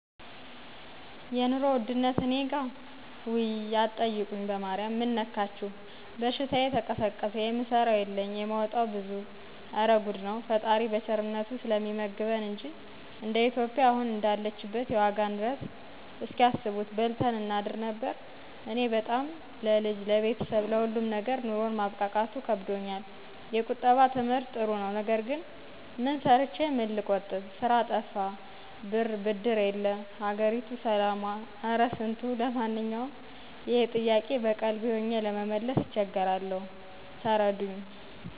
የኑሮ ውድነት እኔጋ ውይይይይይይይ አትጠይቁኝ በማሪያም ምን ነካችሁ በሽታየ ተቀሰቀሰ የምሰራው የለኝ የማወጣው ብዙ እረ ጉድ ነው። ፈጣሪ በቸርነቱ ስለሚመግበን እንጂ እንደ ኢትዮጵያ አሁን እንዳለችበት የዋጋ ንረት እስኪ አስቡት በልተን እናድር ነበር። እኔ በጣም ለልጅ ,ለቤተሰብ ,ለሁሉም ነገር ኑሮን ማብቃቃቱ ከብዶኛል። የቁጠባ ትምህርት ጥሩ ነው ነገር ግን ምን ሰርቸ ምን ልቆጥብ? ስራ ጠፋ ብር ብድር የለ ሀገሪቱ ሰላሟ ኧረ ስንቱ። ለማነኛውም ይሄ ጥያቄ በቀልቤ ሆኘ ለመመለስ እቸገራለሁ ተረዱኝ